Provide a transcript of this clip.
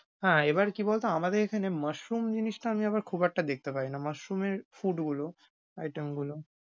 হ্যাঁ, এবার কি বলতো আমাদের এখানে mushroom জিনিসটা আমি আবার খুব একটা দেখতে পারিনা। mushroom এর food গুলো item গুলো।